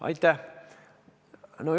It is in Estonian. Aitäh!